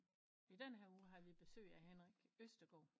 I den her uge har vi besøg af Henrik Østergaard